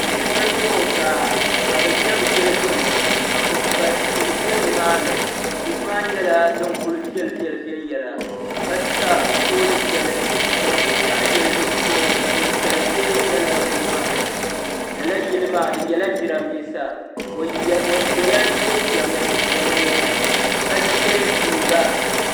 Silmiinga mini o baa ka bi ʒɛ bi yili gbuni ka kpukpali tihi bɛ ni maa ni tihi maa nyɛla din kuli viɛlli viɛlli viɛnyɛla ka sa pooli shɛli n zaŋ binshaɣu yili di zuɣu ka ninsali bɛ lala bini maa ni lala yili maa di nyɛla jiranbiisa o so la jinjam din nyɛ ka yɛ liiga.